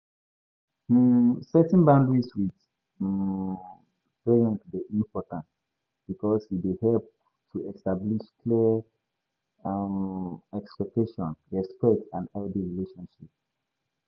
um setting boudaries with um parents dey important because e dey help to establish clear um expectations, respect and healthy relationship.